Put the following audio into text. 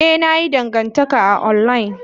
Ee, na yi dangantaka a online.